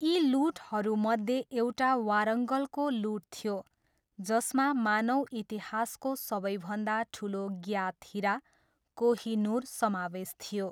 यी लुटहरूमध्ये एउटा वारङ्गलको लुट थियो जसमा मानव इतिहासको सबैभन्दा ठुलो ज्ञात हिरा, कोहईनुर समावेश थियो।